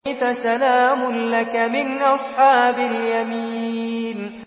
فَسَلَامٌ لَّكَ مِنْ أَصْحَابِ الْيَمِينِ